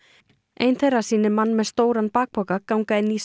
ein þeirra sýnir mann með stóran bakpoka ganga inn í